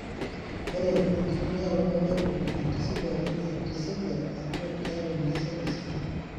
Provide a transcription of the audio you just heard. Ore enkitumiaroto empeku natisipwaki entisipa ajo keyau enkesare sidai.